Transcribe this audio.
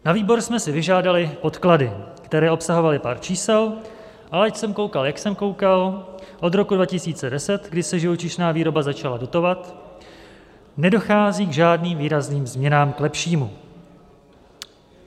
Na výbor jsme si vyžádali podklady, které obsahovaly pár čísel, ale ať jsem koukal, jak jsem koukal, od roku 2010, kdy se živočišná výroba začala dotovat, nedochází k žádným výrazným změnám k lepšímu.